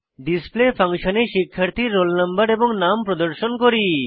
display ফাংশনে শিক্ষার্থীর roll no এবং নাম প্রদর্শন করি